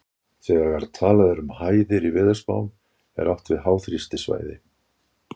Þegar talað er um hæðir í veðurspám er átt við háþrýstisvæði.